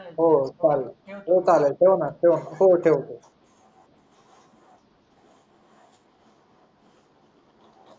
हो चालेल हो चालेल ठेव ना ठेव ना हो ठेवतो